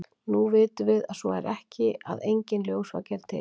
nú vitum við að svo er ekki og að enginn ljósvaki er til